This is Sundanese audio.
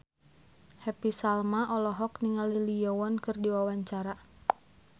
Happy Salma olohok ningali Lee Yo Won keur diwawancara